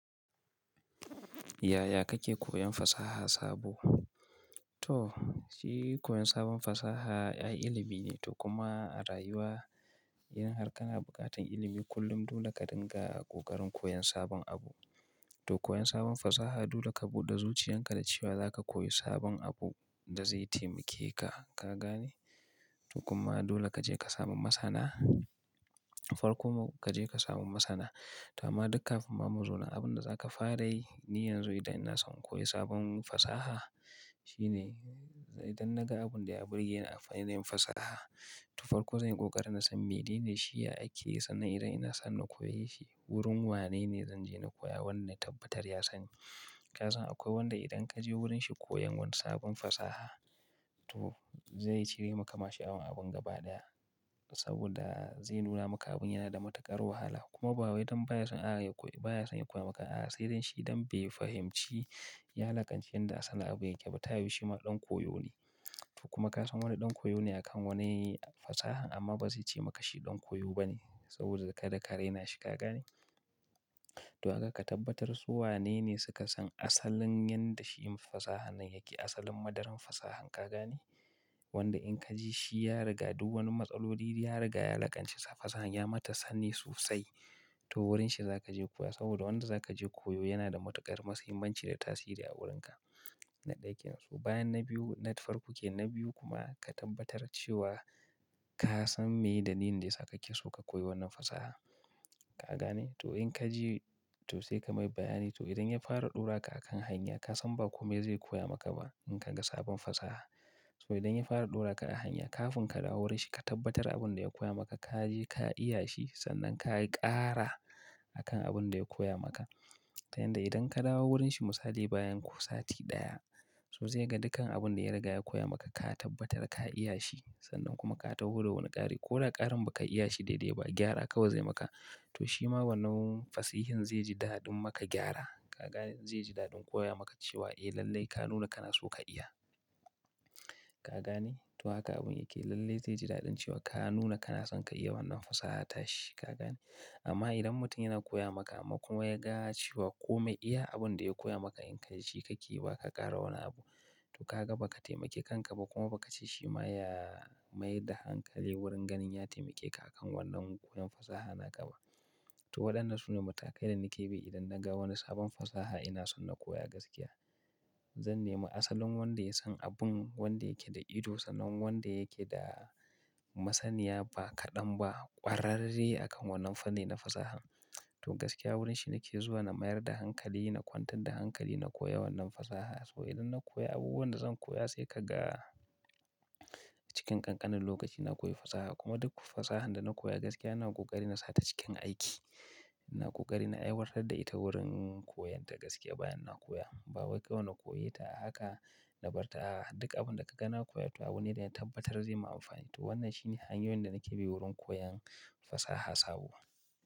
Yaya kake koyan fasaha sabo? To, shi koyan sabon fasaha ƴa ilimi ne. To kuma a rayuwa, idan har kana buƙatan ilimi kullum dole ka dinga a ƙoƙarin koyan sabon abu. To koyan sabon fasaha dole ka buɗe zuciyan ka da cewa za ka koyi sabon abu da zai taimake ka, ka gane? To kuma dole ka je ka samu masana. To farko ma ka je ka sami masana. To amma dukan kafin ma mu zo na abin da za ka fara yi, ni yanzu idan ina son in koyi sabon fasaha shine idan na ga abin da ya burge ni a fannin fasaha, to farko zan yi ƙoƙari na san me ne shi, ya ake yi sa'n nan idan ina son na koyi shi wurin wane ne zan je na koya wannan tabbatar ya sani. Ka san akwai wanda idan ka je wurin shi koyan wani sabon fasaha, to zai cire maka mashayan abin gaba ɗaya saboda zai nuna maka abin yana da matuƙar wahala kuma bawai idan baya son a yako, baya son ya koya maka a'a, sai dai shi don bai fahimci ya lakanci yadda asalin abun yake ba. Tayu shi ma ɗan koyo ne. To kuma ka san wani ɗan koyo ne a kan wani fasaha amma ba zai ce maka shi ɗan koyo ba ne saboda kada ka raina shi, ka gane? To haka ka tabbatar su wane ne suka san asalin yadda shi yin fasaha nan yake, asalin madaran fasahan, ka gane? Wanda in ka ji shi ya riga duk wani matsaloli riga ya lakanci fasahan ya mata sani sosai, to wurin shi za ka je koya saboda wanda za ka je koyo yana da matuƙar mahimmanci da tasiri a wurin ka. Na ɗaya ke nan su. Bayan na biyu, na farko ke na biyu kuma ka tabbatar cewa ka san me dalilin da yasa kake so ka koyi wannan fasaha, ka gane? To in ka ji to sai ka mai bayani. To idan ya fara ɗora ka a kan hanya ka san ba kome zai koya maka ba in ka ga sabon fasaha. To idan ya fara ɗora ka a hanya kafin ka dawo wurin shi ka tabbatar abin da ya koya maka ka je ka iya shi sannan ka yi ƙara a kan abin da ya koya maka. Ta yanda idan ka dawo wurin shi misali bayan ku sati ɗaya, to zai ga dukan abun da ya riga ya koya maka ka tabbatar ka iya shi sannan kuma ka taho da wani ƙari. Ko da ƙarin ba ka iya shi daidai ba, gyara kawai zai maka. To shi ma wannan fassihin zai ji daɗin maka gyara. Ka gane? Zai ji daɗin koya maka cewa eh lallai ka nuna kana so ka iya, ka gane? To haka abun yake. Lallai zai ji daɗin cewa ka nuna kana son ka iya wannan fasaha tashi, ka gane? Amma idan mutum yana koya maka amma kuma ya gaya cewa kome iya abin da ya koya maka in ka yi shi ka ƙi ba ka ƙara wani abu, to ka ga ba ka taimake kanka ba kuma ba ka ci shi ma ya mayar da hankali wurin ganin ya taimake ka a kan wannan koyon fasaha na gaba. To waɗannan su ne matakai da nake bi idan na ga wani sabon fasaha ina son na koya gaskiya. Zan nemi asalin wanda ya san abun wanda yake da ido sanin wanda yake da masaniya ba kaɗan ba ƙwararre a kan wannan fanni na fasahan. To gaskiya wurin shi nake zuwa na mayar da hankali, na kwantar da hankali na koya wannan fasaha. To idan na koya abubuwan da zan koya sai ka ga cikin ƙanƙanin lokaci na koyi fasaha kuma duk fasahan da na koya gaskiya na yi ƙoƙari na sa ta cikin aiki. Na yi ƙoƙari na aiwatar da ita wurin koyan ta gaskiya bayan na koya. Bawai kawai na koya ta haka na bar ta a haka. Duka abin da ka gana koya to abu ne da ya tabbatar zai ma amfani. To wannan shi ne hanyoyin da nake bi wurin koyan fasaha sabo.